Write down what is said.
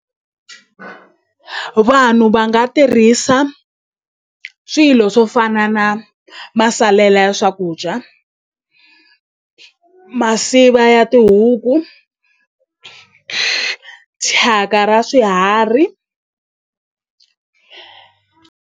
Vanhu va nga tirhisa swilo swo fana na masalela ya swakudya masiva ya tihuku ku thyaka ra swiharhi.